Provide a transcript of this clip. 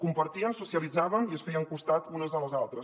compartien socialitzaven i es feien costat unes a les altres